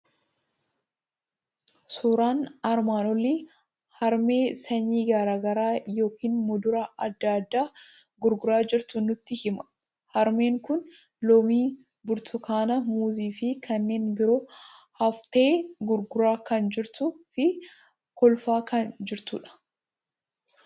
Suuraan armaan olii harmee sanyii garaa garaa yookiin muduraa adda addaa gurguraa jirtu nutti hima. Harmeen kun loomii, burtukaana, muuzii fi kanneen biroo aftee gurguraa kan jirtuu fi kolfaa kan jirtudha.